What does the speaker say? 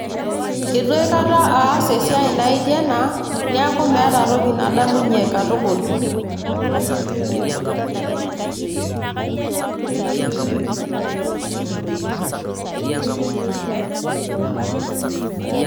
Eitu aikata aas esiai naijo ena niaku meeta nadamunyie katukul.